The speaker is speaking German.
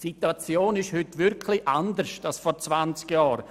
Die Situation ist heute wirklich anders als vor 20 Jahren.